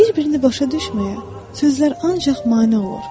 Bir-birini başa düşməyən sözlər ancaq mane olur.